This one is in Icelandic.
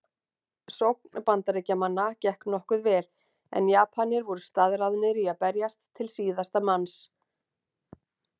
Sókn Bandaríkjamanna gekk nokkuð vel en Japanir voru staðráðnir í að berjast til síðasta manns.